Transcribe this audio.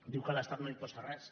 diu que l’estat no imposa res